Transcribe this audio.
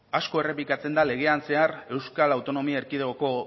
asko errepikatzen da legean zehar euskal autonomia erkidegoko